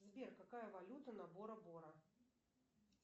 сбер какая валюта на боро боро